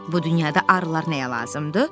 Bu dünyada arılar nəyə lazımdır?